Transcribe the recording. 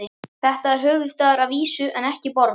Þetta er höfuðstaður að vísu en ekki borg.